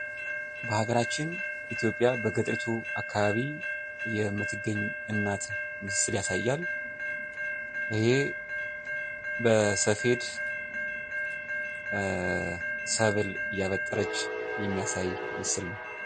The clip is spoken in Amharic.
በሀገራችን ኢትዮጵያ በገጠር አካባቢ የምትገኝ እናትን ምስል ያሳያል። እሂ በሰፌድ ሰብል እያበጠረች የሚያሳይ ምስል ነው።